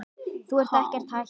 Þú ert ekkert hættur?